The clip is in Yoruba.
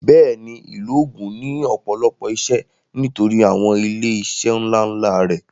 Bẹ́ẹ̀ni ìlú Ògùn ní ọ̀pọ̀lọpọ̀ ìṣe nítorí àwọn ilé iṣẹ́ ńlá ńlá rẹ̀